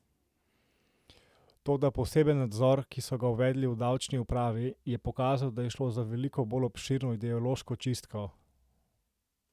Toda poseben nadzor, ki so ga uvedli v davčni upravi, je pokazal, da je šlo za veliko bolj obširno ideološko čistko.